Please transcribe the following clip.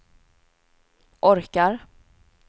orkar